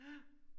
Ja